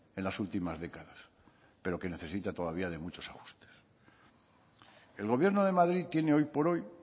en las últimas décadas pero que necesita todavía de muchos ajustes el gobierno de madrid tiene hoy por hoy